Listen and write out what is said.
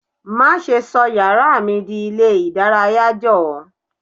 Má ṣe sọ yàrá mi di ilé ìdárayá. Jọ̀ọ́.